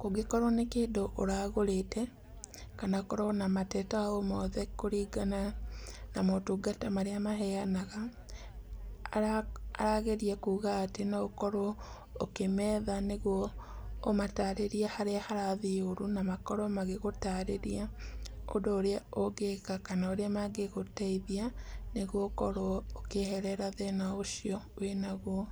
Kũngĩkorwo nĩ kĩndũ ũragũrĩte, kana ũkorwo na mateta o mothe kũringana na motungata marĩa maheanaga, arageria kuuga atĩ no ũkorwo ũkimetha nĩguo ũmataarĩrie harĩa harathiĩ ũru na makorwo magĩgũtaarĩria ũndũ ũrĩa ũngĩka kana ũrĩa mangĩgũteithia nĩguo ũkorwo ũkĩeherera thĩna ũcio wĩnaguo.